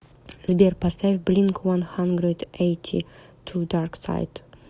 сбер поставь блинк уан хандрэд эйти ту дарксайд